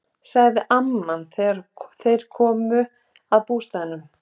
sagði amman þegar þeir komu að bústaðnum.